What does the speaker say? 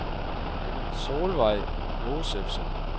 Solveig Josefsen